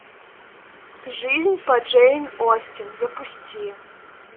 жизнь по джейн остин запусти